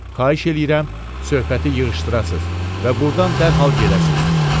Xahiş eləyirəm, söhbəti yığışdırasız və burdan dərhal gedəsiz.